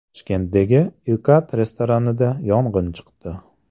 Toshkentdagi Ikat restoranida yong‘in chiqdi .